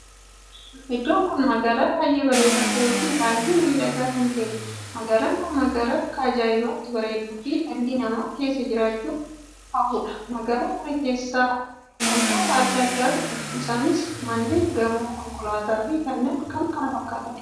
Iddoo kun magaalaa baay'ee bareedaa ta'ee fi baay'ee miidhagaa kan ta'eedha. Magaalaan kun magaalaa akka ajaa'ibaatti bareedduu fi dhalli namaa keessa jiraachuu hawwuudha. Magaalaa kana keessaa wantoota addaa addaatu jira. Isanis mannee, gamoo, konkolaataa fi kanneen kan fakkaatanidha.